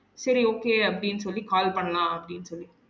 செரி okay அப்டின்னு சொல்லி call பண்லாம் அப்டின்னு சொல்லி